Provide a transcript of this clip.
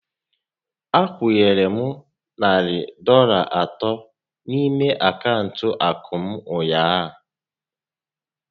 A kwunyere m narị Dọlas atọ n'ime akaụntụ akụ m ụnyaahụ